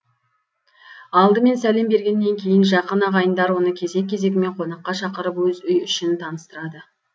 алдымен сәлем бергеннен кейін жақын ағайындар оны кезек кезегімен қонаққа шақырып өз үй ішін таныстырады